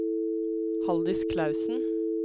Haldis Clausen